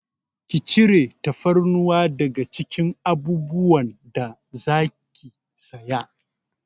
Ki cire tafarnuwa daga cikin abubuwan da zaki saya!